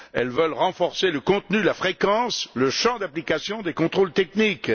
Elles veulent renforcer le contenu, la fréquence et le champ d'application des contrôles techniques.